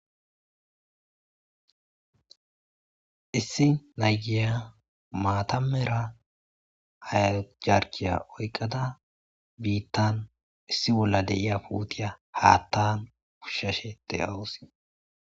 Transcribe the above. issi nayiya maata mera hajarkiya oyqada biittan issi bolla de'iya puutiya haattan pushshashe de'awus